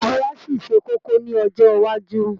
Òwe á ṣì ṣe kókó ní ọjọ́ iwájú